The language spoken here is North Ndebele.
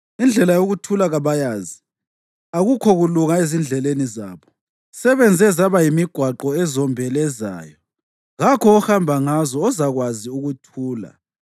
Indlela yokuthula kabayazi; akukho kulunga ezindleleni zabo. Sebenze zaba yimigwaqo ezombelezayo, kakho ohamba ngazo ozakwazi ukuthula.